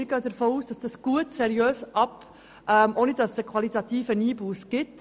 Wir gehen davon aus, dass das gut abgeklärt worden ist, und dass keine qualitative Einbusse damit verbunden ist.